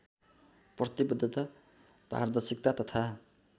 प्रतिवद्धता पारदर्शिता तथा